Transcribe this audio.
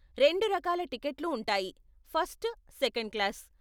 రెండు రకాల టికెట్లు ఉంటాయి, ఫస్ట్, సెకండ్ క్లాస్.